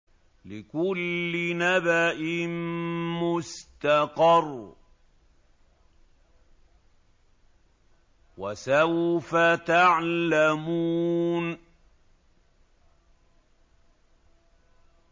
لِّكُلِّ نَبَإٍ مُّسْتَقَرٌّ ۚ وَسَوْفَ تَعْلَمُونَ